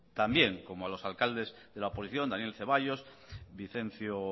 también como a los alcaldes de la oposición daniel ceballos vicencio